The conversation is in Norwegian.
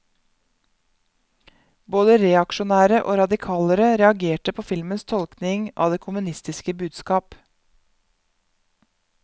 Både reaksjonære og radikalere reagerte på filmens tolkning av det kommunistiske budskap.